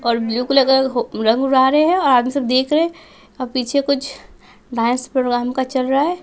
और blue colour का रंग उड़ा रहे हैं और आराम से देख रहे और पीछे कुछ डांस प्रोग्राम का चल रहा है।